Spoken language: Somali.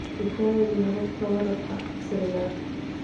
Tijaabi hababka waraabka casriga ah.